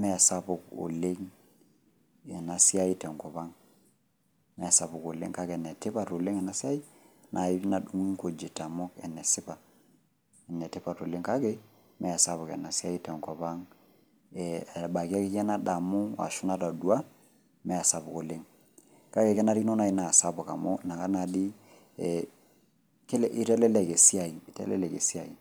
meesapuk oleng' enasiai tenkopang'. Meesapuk oleng' kake netipat oleng' enasiai nai nadung'i nkujit amu enesipa enetipat oleng' kake meesapuk enasiai tenkopang'. Ebaiki akeyie nadamu ashu nataduaa meesapuk oleng'. Kake kenarikino nai naasapuk amu nakata naadii ee eitelelek esiai, eitelelek esiai.